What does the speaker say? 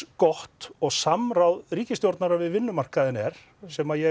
gott og samráð ríkisstjórnar við vinnumarkaðinn er sem ég